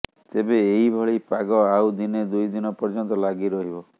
ତେବେ ଏହି ଭଳି ପାଗ ଆଉ ଦିନେ ଦୁଇଦିନ ପର୍ଯ୍ୟନ୍ତ ଲାଗି ରହିବ